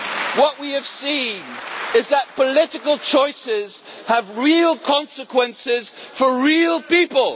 it. What we have seen is that political choices have real consequences for real people.